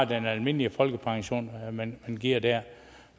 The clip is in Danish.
den almindelige folkepension man giver der